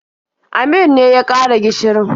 Amir ne ya ƙara gishirin.